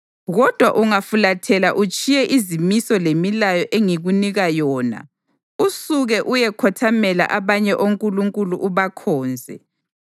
Kodwa ungafulathela utshiye izimiso lemilayo engikunika yona usuke uyekhothamela abanye onkulunkulu ubakhonze,